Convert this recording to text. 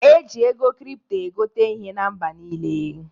E ji ego kripto egote ihe na mba niile.